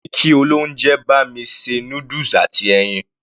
Mo ní kí olóúnjẹ bá mi ṣe noodles àti ẹyin.